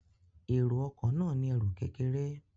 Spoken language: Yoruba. Èrò ọkọ̀ náà ní ẹrù kékeré